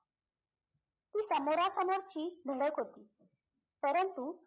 ती समोरासमोरची धडक होती परंतु